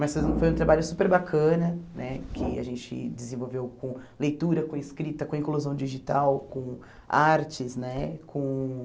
Mas foi um foi um trabalho super bacana né, que a gente desenvolveu com leitura, com escrita, com inclusão digital, com artes né com.